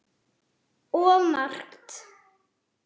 Of margt.